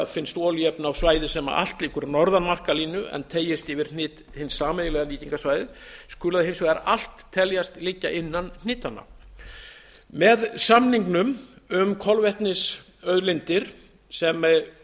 finnst olíuefni á svæði sem allt liggur norðan markalínu en teygist út yfir hnit hins sameiginlega nýtingarsvæðis skulu hins vegar allt teljast liggja innan hnitanna með samningnum um kolvetnisauðlindir sem